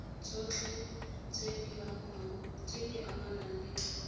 tsotlhe tse di amanang le